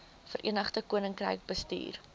verenigde koninkryk bestuur